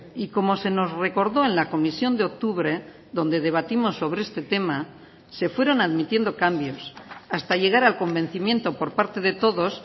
y como se nos recordó en la comisión de octubre donde debatimos sobre este tema se fueron admitiendo cambios hasta llegar al convencimiento por parte de todos